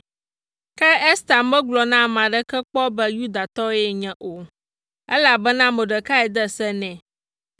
Ke Ester megblɔ na ame aɖeke kpɔ be Yudatɔ yenye o, elabena Mordekai de se nɛ.